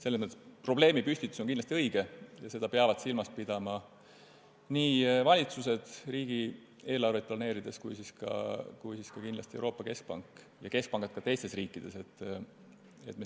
Selles mõttes on probleemipüstitus kindlasti õige ja seda peavad silmas pidama nii valitsused riigieelarveid planeerides kui ka Euroopa Keskpank ja teiste riikide keskpangad.